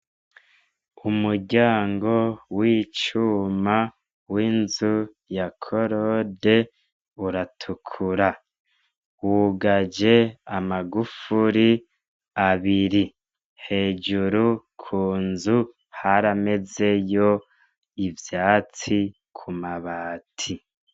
Umuryango w'icuma w'inzu ya korode uratukura. Wugaje amagufuri abiri. Hejuru ku nzu haramezeyo ivyatsi ku mabati.